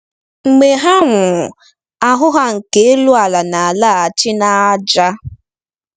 Mgbe ha nwụrụ, ahụ́ ha nke elu ala na-alaghachi n'ájá.